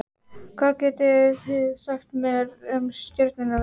hvað getið þið sagt mér um stjörnuna vegu